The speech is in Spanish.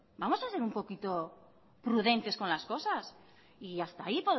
vamos a ser un poquito prudentes con las cosas y hasta ahí